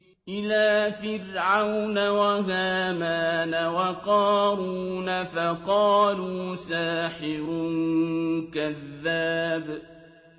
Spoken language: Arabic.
إِلَىٰ فِرْعَوْنَ وَهَامَانَ وَقَارُونَ فَقَالُوا سَاحِرٌ كَذَّابٌ